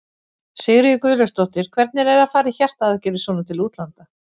Sigríður Guðlaugsdóttir: Hvernig er að fara í hjartaaðgerðir svona til útlanda?